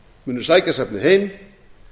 munu sækja safnið heim